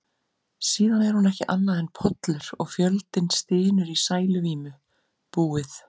Síðan er hún ekki annað en pollur, og fjöldinn stynur í sæluvímu: búið.